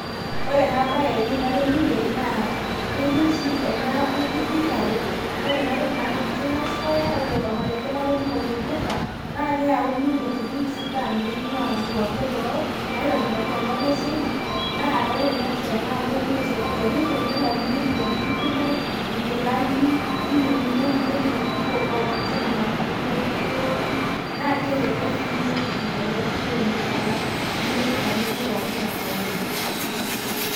ore ena bae ewueji natoning'ie naaa ketii oshi ena wueji thika road ore ena toki naa keji china squre ore olmarenke latoning'o lopirta naa keyauni intokitin sidan naing''uaa inkuapi eboo. naitobiraki tenkop e china. naa ore ena amu olduka ele omirieki intokitin kumok, inkilani, ninyiang'unyieki nemeirieki intokitin pookin imashinini naitukuoreki. naa kelelk sii intokitin tele duka oleng alang' kulie dukai ake pookin le kawaida.